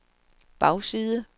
bagside